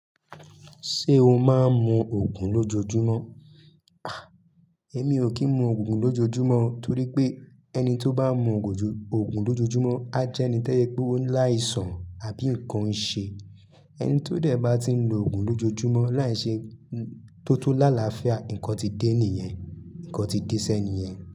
Ṣé o máa ń mu òògùn lójoojúmọ́? À, èmi ò kí ń mu òògùn lójoojúmọ́ torí pé ẹni tó bá mú òògùn lójoojúmọ́ a jẹ́ ẹni tẹ́yẹ pé ó ń láìsàn àbí ǹkan ń ṣe. Ẹni tó dẹ̀ bá ti ń lo òògùn lójoojúmọ́ láì ṣe tó tó lálafíà, ǹkan ti dé nìyẹn, ǹkan ti dé sé ènìyẹn.